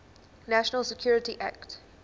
national security act